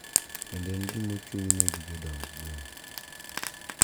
Kendo en gima ochung`ne gi jodong gweng`.